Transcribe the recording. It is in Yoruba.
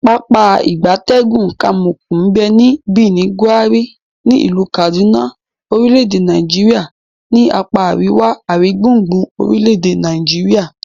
Pápá ìgbatẹ́gùn Kamuku nbe ni Birnin, Gwari, ni ilu Kaduna orile-ede Nigeria ni apa ariwa aringbungbun orile ede Nigeria.